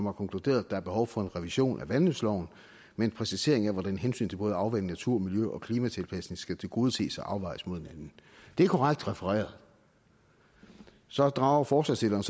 har konkluderet at der er behov for en revision af vandløbsloven med en præcisering af hvordan hensyn til både afvanding natur miljø og klimatilpasning skal tilgodeses og afvejes mod hinanden det er korrekt refereret så drager forslagsstillerne